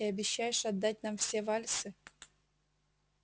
и обещаешь отдать нам все вальсы